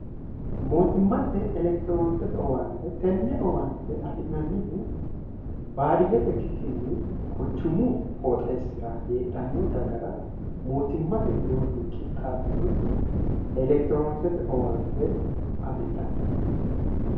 mootimmatte elekitiroonokisete owaante tenne owaante afi'nannihu baadiyyete ikkikkinni quchumu qooxeessira heedhanno dagara mootimmate widoonni qixxaabbinoti elekitiroonokisete owaante afidhanni